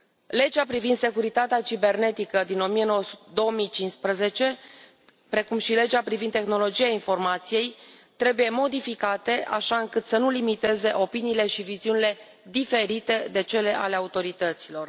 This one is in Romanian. Legea privind securitatea cibernetică din 2015, precum și legea privind tehnologia informației, trebuie modificate așa încât să nu limiteze opiniile și viziunile diferite de cele ale autorităților.